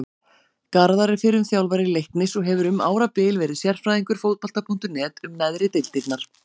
Garðar er fyrrum þjálfari Leiknis og hefur um árabil verið sérfræðingur Fótbolta.net um neðri deildirnar.